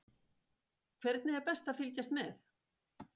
Hvernig er best að fylgjast með?